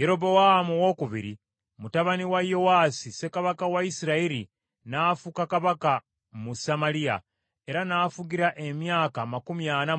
Yerobowaamu II mutabani wa Yowaasi ssekabaka wa Isirayiri n’afuuka kabaka mu Samaliya, era n’afugira emyaka amakumi ana mu gumu.